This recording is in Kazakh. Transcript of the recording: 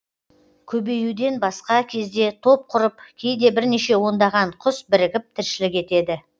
көбеюден басқа кезде топ құрып кейде бірнеше ондаған құс бірігіп тіршілік етеді